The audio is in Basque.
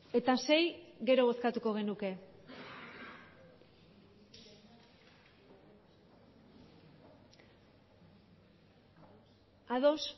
eta sei gero bozkatuko genuke ados